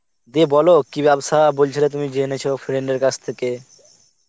দিয়ে বল কি বেবসা বলছিলে তুমি জেনেছ friend এর কাছ থেকে